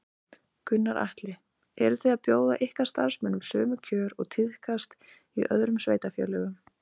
Gunnar Atli: Eru þið að bjóða ykkar starfsmönnum sömu kjör og tíðkast í öðrum sveitarfélögum?